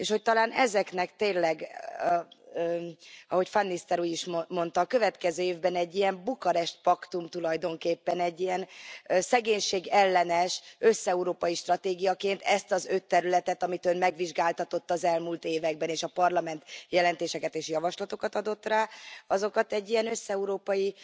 És hogy talán ezeknek tényleg, ahogy van Nistelrooij úr is mondta, a következő évben egy ilyen Bukarest paktum tulajdonképpen, egy ilyen szegénység ellenes, összeurópai stratégiaként, ezt az öt területet, amit Ön megvizsgáltatott az elmúlt években, és a Parlament jelentéseket és javaslatokat adott rá, azokat egy ilyen összeurópai